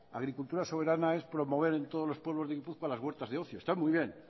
agricultura soberana es promover en todos los pueblos de gipuzkoa las huertas de ocio están muy bien